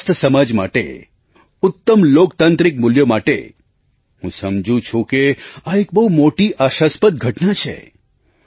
એક સ્વસ્થ સમાજ માટે ઉત્તમ લોકતાંત્રિક મૂલ્યો માટે હું સમજું છું કે આ એક બહુ મોટી આશાસ્પદ ઘટના છે